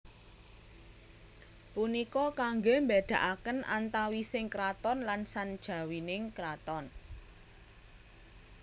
Punika kangge mbedakaken antawising kraton lan sanjawining kraton